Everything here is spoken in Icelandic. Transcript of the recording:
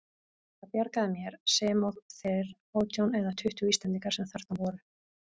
Það bjargaði mér, sem og þeir átján eða tuttugu Íslendingar sem þarna voru.